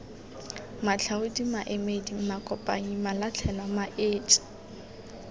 matlhaodi maemedi makopanyi malatlhelwa maetsi